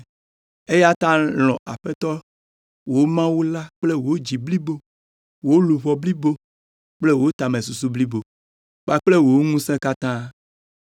Eya ta lɔ̃ Aƒetɔ, wò Mawu la kple wò dzi blibo, wò luʋɔ blibo kple wò tamesusu blibo kpakple wò ŋusẽ katã.’